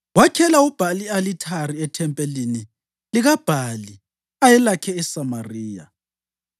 Wakhela uBhali i-alithari ethempelini likaBhali ayelakhe eSamariya.